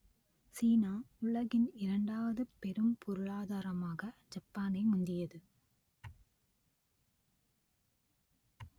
சீனா உலகின் இரண்டாவது பெரும் பொருளாதாரமாக ஜப்பானை முந்தியது